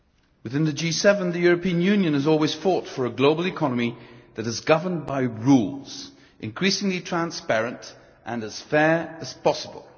Within the G7, the European Union has always fought for a global economy that is governed by rules, increasingly transparent, and as fair as possible.